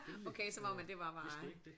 Okay som om at det var bare